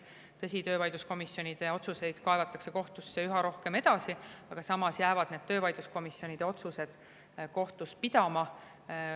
Tõsi, töövaidluskomisjonide otsuseid kaevatakse kohtusse edasi üha rohkem, aga samas jäävad need töövaidluskomisjonide otsused kohtus pidama.